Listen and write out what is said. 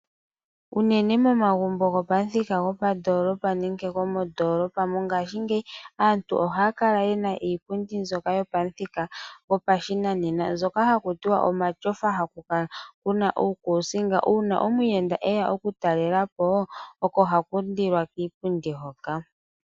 Uunene momagumbo gopamuthika gopandoolopa nenge gomondoolopa mongaashingeyi aantu ohaya kala ye na iipundi mbyoka yopamuthika gopashinanena mbyoka haku tiwa omatyofa haku kala kuna uukusinga. Uuna omuyenda eya oku talela po oko hakundilwa kiipundi hoka.